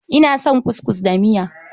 Ina son kuskus da miya.